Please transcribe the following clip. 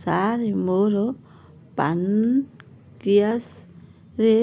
ସାର ମୋର ପାନକ୍ରିଆସ ରେ